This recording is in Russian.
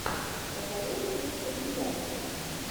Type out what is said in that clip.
посоветуй мне компиляции